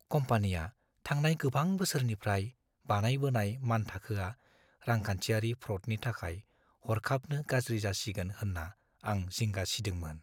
कम्पानिया थांनाय गोबां बोसोरनिफ्राय बानायबोनाय मानथाखोआ रांखान्थियारि फ्र'डनि थाखाय हरखाबनो गाज्रि जासिगोन होन्ना आं जिंगा सिदोंमोन।